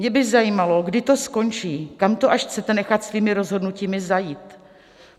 Mě by zajímalo, kdy to skončí, kam to až chcete nechat svými rozhodnutími zajít?